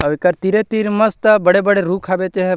अउ एकर तीरे-तीर मस्त बड़े-बड़े रुख हावे तेहा--